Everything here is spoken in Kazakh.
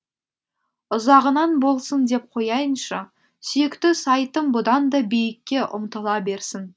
ұзағынан болсын деп қояйыншы сүйікті сайтым бұдан да биікке ұмтыла берсін